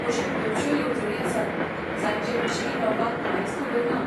अश्यो खुबश्यो येवजणी आसात जांचेविशीं लोकांक कांयच खबर ना.